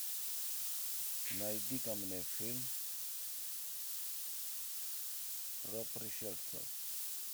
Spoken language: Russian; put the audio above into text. найди ка мне фильм про пришельцев